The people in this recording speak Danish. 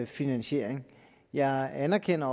finansiering jeg anerkender